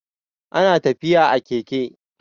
ana tafiya a Keke